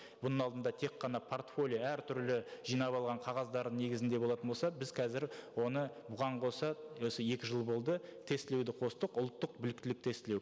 бұның алдында тек қана портфолио әртүрлі жинап алған қағаздардың негізінде болатын болса біз қазір оны бұған қоса осы екі жыл болды тестілеуді қостық ұлттық біліктілік тестілеу